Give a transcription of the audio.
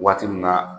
Waati min na